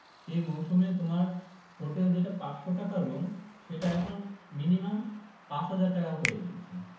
সে মরসুমে তোমার হোটেল যেটা পাঁচশো টাকা রুম সেটা এখন minimum পাঁচ হাজার টাকা হয়ে গিয়েছে